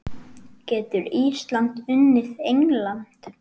Getur Ísland unnið England?